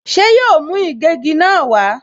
Ṣé yóò mú ìgégi náà wá?